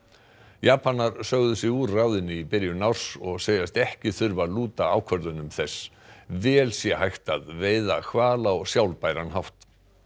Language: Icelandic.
Japanar sögðu sig úr ráðinu í byrjun árs og segjast ekki þurfa að lúta ákvörðunum þess vel sé hægt að veiða hval á sjálfbæran hátt